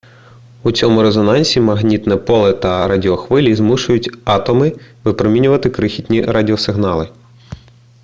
у цьому резонансі магнітне поле та радіохвилі змушують атоми випромінювати крихітні радіосигнали